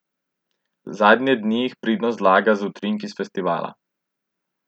Zadnje dni jih pridno zalaga z utrinki s festivala.